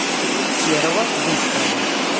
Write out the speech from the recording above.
серого быстрова